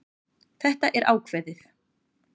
Þetta er ákveðið.